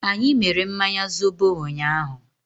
Anyị mere mmanya zobo ụnyaahụ.